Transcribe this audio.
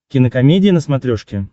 кинокомедия на смотрешке